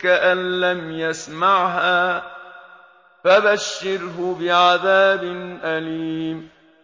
كَأَن لَّمْ يَسْمَعْهَا ۖ فَبَشِّرْهُ بِعَذَابٍ أَلِيمٍ